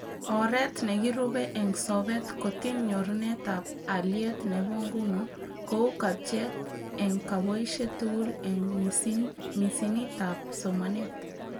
Oret nekirube eng sobet kotiny nyorunetab aliet nebo nguno, kou kabjeet eng koboishet tugul eng misinitab somanet (2017PPP_